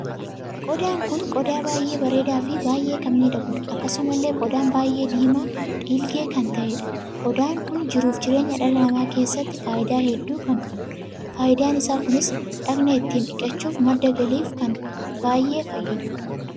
Qodaan kun qodaa baay'ee bareedaa fi baay'ee kan miidhaguudha. Akkasumallee qodaan baay'ee diimaa dhiilgee kan taheedha. Qodaan kun jiruuf jireenya dhala namaa keessatti faayidaa hedduu kan qabuudha. Faayidaan isaa kunis dhagna itti dhiqachuuf, madda galiif kan baay'ee fayyaduudha.